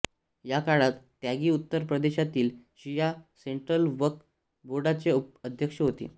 याकाळात त्यागी उत्तर प्रदेशातील शिया सेंट्रल वक्फ बोर्डाचे अध्यक्ष होते